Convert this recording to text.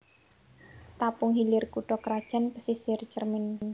Tapung Hilir kutha krajan Pasisir Cermin